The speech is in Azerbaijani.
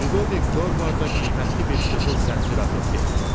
Lüdovik Dorvarda qiymətli bir qızıl zəncir atıb dedi: